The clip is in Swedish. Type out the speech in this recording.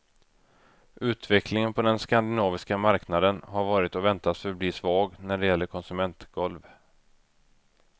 Utvecklingen på den skandinaviska marknaden har varit och väntas förbli svag när det gäller konsumentgolv.